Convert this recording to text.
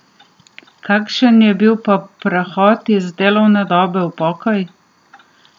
Kakšen je bil pa prehod iz delovne dobe v pokoj?